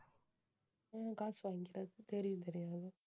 உம் காசு வாங்கிக்கறது தெரியும் தெரியும் அது